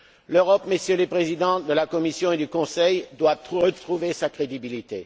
L'Europe, Messieurs les Présidents de la Commission et du Conseil, doit retrouver sa crédibilité.